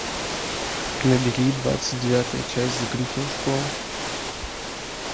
набери двадцать девятая часть закрытая школа